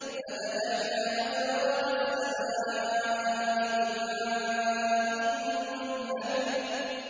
فَفَتَحْنَا أَبْوَابَ السَّمَاءِ بِمَاءٍ مُّنْهَمِرٍ